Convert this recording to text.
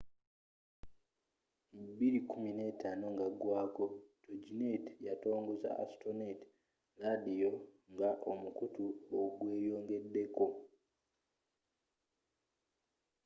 2015 nga agwaako toginet yatongoza astronet ladiyo nga omukuto ogweyongedeko